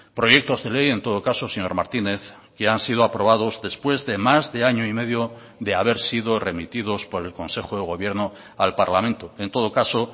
proyectos de ley en todo caso señor martínez que han sido aprobados después de más de año y medio de haber sido remitidos por el consejo de gobierno al parlamento en todo caso